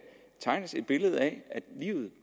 tegnes et billede af at livet